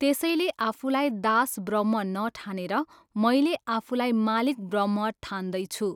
त्यसैले आफुलाई दास ब्रह्म नठानेर मैले आफुलाई मालिक ब्रह्म ठान्दैछु।